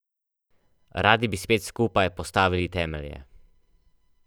Radi bi spet skupaj postavili temelje.